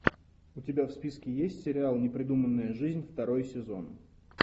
у тебя в списке есть сериал непридуманная жизнь второй сезон